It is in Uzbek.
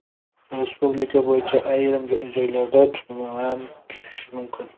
Respublika bo‘yicha ayrim joylarda tuman tushishi mumkin.